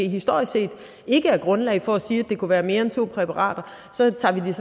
historisk set ikke er grundlag for at sige at det kunne være mere end to præparater så tager vi det